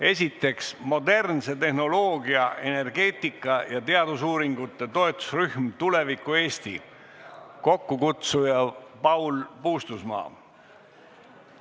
Esiteks, modernse tehnoloogia, energeetika ja teadusuuringute toetusrühm "Tuleviku Eesti", kokkukutsuja Paul Puustusmaa.